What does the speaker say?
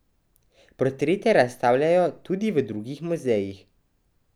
Portrete razstavljajo tudi v drugih muzejih.